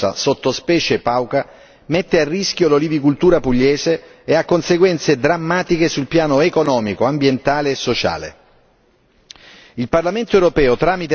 La diffusione del patogeno da quarantena Xylella fastidiosa, sottospecie Pauca, mette a rischio l'olivicultura pugliese e ha conseguenze drammatiche sul piano economico, ambientale e sociale.